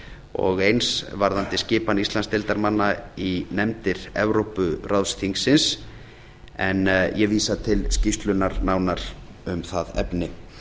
og eins varðandi skipan íslandsdeildarmanna í nefndir evrópuráðsþingsins en ég vísa til skýrslunnar nánar um það efni ég